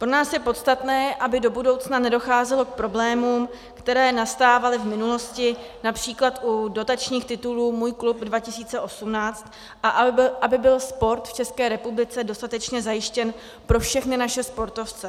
Pro nás je podstatné, aby do budoucna nedocházelo k problémům, které nastávaly v minulosti, například u dotačních titulů Můj klub 2018, a aby byl sport v České republice dostatečně zajištěn pro všechny naše sportovce.